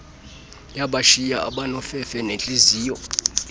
yabashiya abanofefe nentliziyo